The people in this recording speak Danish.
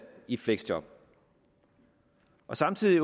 i et fleksjob samtidig